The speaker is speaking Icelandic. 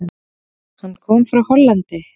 Hann kom frá Hollandi.